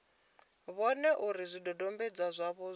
vhone uri zwidodombedzwa zwavho zwa